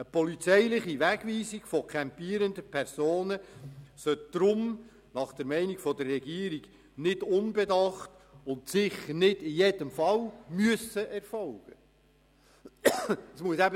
Eine polizeiliche Wegweisung von campierenden Personen soll deshalb nach Meinung der Regierung nicht unbedacht und sicher nicht in jedem Fall erfolgen müssen.